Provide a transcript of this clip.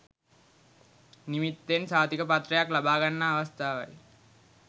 නිමිත්තෙන් සහතිකපත්‍රයක් ලබාගන්නා අවස්ථාවයි.